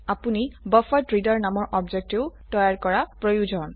আপনি বাফাৰেড্ৰেডাৰ নামৰ অবজেক্টও তৈয়াৰ কৰা প্ৰয়োজন